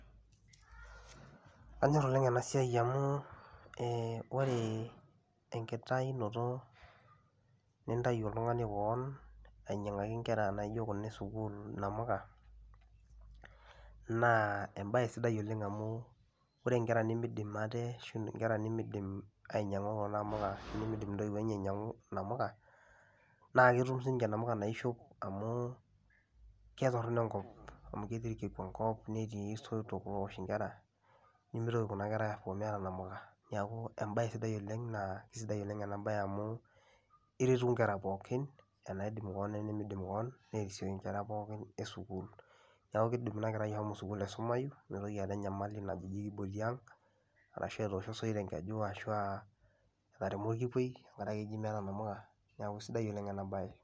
Anyor oleng' ena siai amu ee ore enkitayunoto nintayu oltung'ani koon ainyang'aki inkera naijo kuna e sukuul inamuka naa embaye sidai oleng' amu ore inkera nemiidim ate ashu inkera nemiidim ainyang'u kuna amuka ashu nemiidim intoiwuo enye ainyang'u namuka naa ketum siinje namuka naishop amu ketorono enkop amu ketii irkiku enkop netii isoitok oowosh inkera, nemitoki kuna kera aapuo meeta nkamuka. Neeku embaye sidai oleng' naa kesidai oleng' ena baye amu iretu inkera pookin enaidim koon we nimiidim koon nerisioyu inkera ppokin e sukuul. Neeku kiidim ina kerai ashomo sukuul aisumayu nemitoki aata enyamali najo kiboki aang' ashu etoosho osoit enkeju ashu aa etaremo orkikuei ore ake eji meeta namuka, neeku sidai oleng' ena baye.